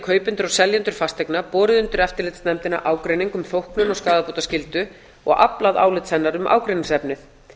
og seljendur fasteigna borið undir eftirlitsnefndina ágreining um þóknun og skaðabótaskyldu og aflað álits hennar um ágreiningsefnið hér er